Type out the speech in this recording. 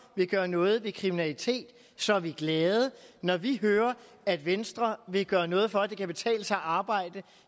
vil gøre noget ved kriminalitet så er vi glade når vi hører at venstre vil gøre noget for at det kan betale sig at arbejde